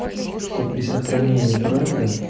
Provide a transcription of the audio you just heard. что при сохранении бренда